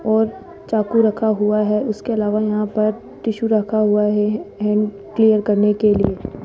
और चाकू रखा हुआ है उसके अलावा यहां पर टिशु रखा हुआ है हैंड क्लियर करने के लिए --